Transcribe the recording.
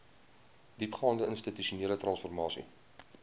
diepgaande institusionele transformasie